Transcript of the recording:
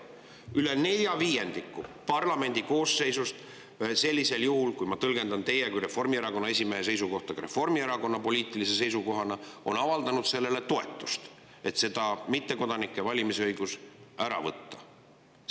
Üle nelja viiendiku parlamendi koosseisust sellisel juhul, kui ma tõlgendan teie kui Reformierakonna esimehe seisukohta ka Reformierakonna poliitilise seisukohana, on avaldanud toetust sellele, et mittekodanike valimisõigus ära võtta.